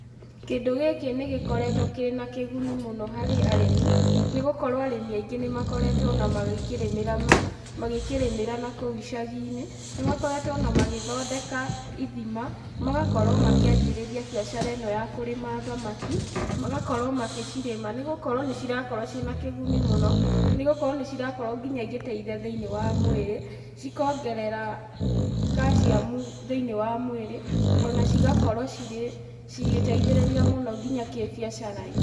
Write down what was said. Kĩndũ gĩkĩ nĩgĩkoretwo kĩ na kĩguni mũno harĩ arĩmi nĩgũkorwo arĩmi aingĩ nĩmakoretwo ona magĩkĩrĩmĩra na kũu icagi-inĩ. Nĩmakoretwo o na magĩthondeka ithima, magakorwo makĩanjĩrĩria biacara ĩno ya kũrĩma thamaki, magakorwo magĩcirĩma nĩgũkorwo nĩcirakorwo ciĩna kĩguni mũno, nĩgũkorwo nĩ cirakorwo nginya igĩteithia thĩiniĩ wa mwĩrĩ cikongerera calcium thĩiniĩ wa mũĩrĩ o na cigakorwo cirĩ cigĩteithĩrĩria mũno nginya kĩbiacara-inĩ.